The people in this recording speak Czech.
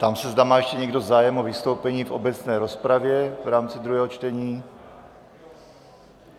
Ptám se, zda má ještě někdo zájem o vystoupení v obecné rozpravě v rámci druhého čtení.